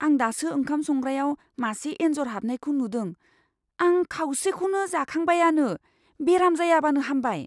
आं दासो ओंखाम संग्रायाव मासे एन्जर हाबनायखौ नुदों। आं खावसेखौनो जाखांबायआनो, बेराम जायाबानो हामबाय!